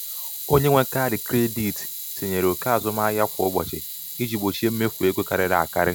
onye nwe kaadị kredit tinyere ókè azụmahịa kwa ụbọchị iji gbochie mmefu ego karịrị akarị.